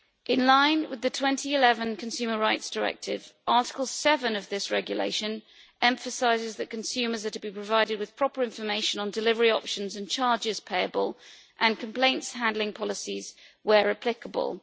In line with the 2011 Consumer Rights Directive, Article 7 of this regulation emphasises that consumers are to be provided with proper information on delivery options and charges payable and complaints handling policies, where applicable.